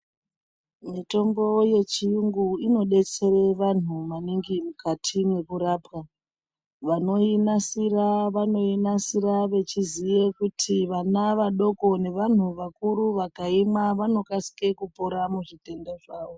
Mutombo yechiyungu inodetsere vanhu maningi mukati mekurapwa vanoinasira vanoinasira veiziva kuti vana vadoko nevanhu vakuru vakaimwa vanokasira kupora muzvitenda zvavo